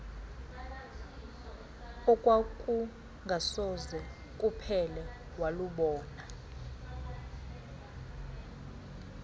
okwakungasoze kuphele walubona